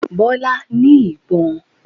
Bọ́lá ní ìbọn